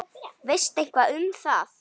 Veistu eitthvað um það?